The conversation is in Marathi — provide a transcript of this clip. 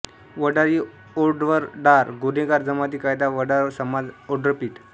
वडारी ओड्रवडार गुन्हेगार जमाती कायदा व वडार समाज ओड्रपीठ